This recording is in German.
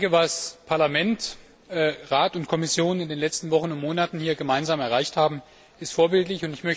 Was Parlament, Rat und Kommission in den letzten Wochen und Monaten hier gemeinsam erreicht haben, ist vorbildlich.